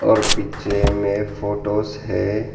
और पीछे में फोटोस है।